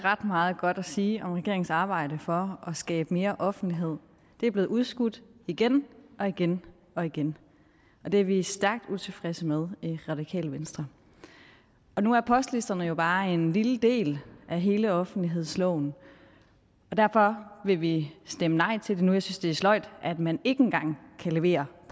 ret meget godt at sige om regeringens arbejde for at skabe mere offentlighed det er blevet udskudt igen og igen og igen og det er vi stærkt utilfredse med i radikale venstre nu er postlisterne jo bare en lille del af hele offentlighedsloven og derfor vil vi stemme nej til det nu jeg synes det er sløjt at man ikke engang kan levere i